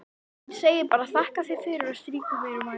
Hún segir bara: þakka þér fyrir, og strýkur mér vangann.